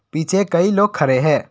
पीछे कई लोग खड़े हैं।